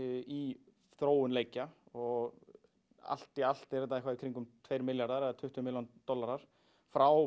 í þróun leikja og allt í allt eru þetta eitthvað í kringum tveir milljarðar eða tuttugu milljónir dollara frá